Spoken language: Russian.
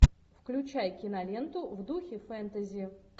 включай киноленту в духе фэнтези